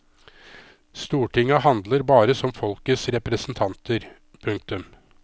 Stortinget handler bare som folkets representanter. punktum